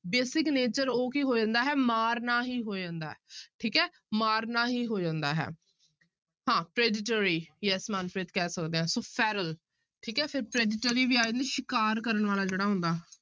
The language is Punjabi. Basic nature ਉਹ ਕੀ ਹੋ ਜਾਂਦਾ ਹੈ ਮਾਰਨਾ ਹੀ ਹੋ ਜਾਂਦਾ ਹੈ ਠੀਕ ਹੈ ਮਾਰਨਾ ਹੀ ਹੋ ਜਾਂਦਾ ਹੈ, ਹਾਂ predatory yes ਮਨਪ੍ਰੀਤ ਕਹਿ ਸਕਦੇ ਹਾਂ ਸੋ feral ਠੀਕ ਹੈ ਫਿਰ predatory ਵੀ ਆ ਜਾਂਦਾ ਸ਼ਿਕਾਰ ਕਰਨ ਵਾਲਾ ਜਿਹੜਾ ਹੁੰਦਾ।